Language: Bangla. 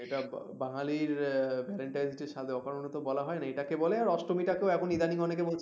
এটা বাঙালির valentine day সাধে অকারণে তো বলা হয়নি এটাকে বলে আর অষ্টমীটাকেও এখন ইদানিং অনেকে বলছে